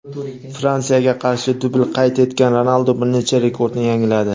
Fransiyaga qarshi dubl qayd etgan Ronaldu bir necha rekordni yangiladi.